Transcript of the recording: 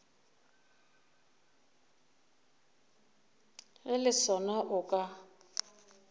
ge le sona o ka